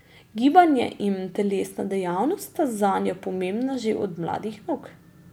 Gibanje in telesna dejavnost sta zanjo pomembna že od mladih nog.